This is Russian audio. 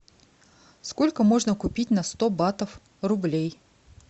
сколько можно купить на сто батов рублей